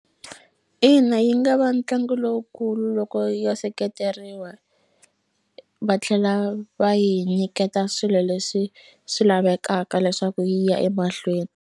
Ina, yi nga va ntlangu lowukulu loko yo seketeriwa va tlhela va yi nyiketa swilo leswi swi lavekaka leswaku yi ya emahlweni.